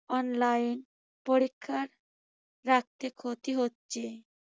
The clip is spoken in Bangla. online পরীক্ষার রাখতে ক্ষতি হচ্ছে।